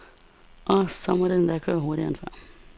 Og så må det endda køre hurtigere end før.